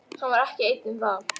Hann var ekki einn um það.